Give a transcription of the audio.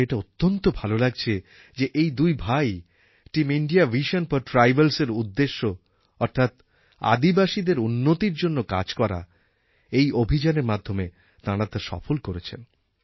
আমার এটা অত্যন্ত ভাল লাগছে যে এই দুই ভাই টিম ইণ্ডিয়া ভিশন ফর ট্রাইবালস্এর যে উদ্দেশ্য অর্থাৎ আদিবাসীদের উন্নতির জন্য কাজ করা এই অভিযানের মাধ্যমে তাঁরা তা সফল করেছেন